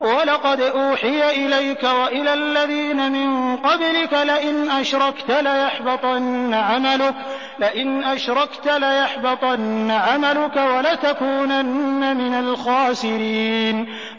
وَلَقَدْ أُوحِيَ إِلَيْكَ وَإِلَى الَّذِينَ مِن قَبْلِكَ لَئِنْ أَشْرَكْتَ لَيَحْبَطَنَّ عَمَلُكَ وَلَتَكُونَنَّ مِنَ الْخَاسِرِينَ